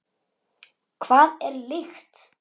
Hvað er lykt?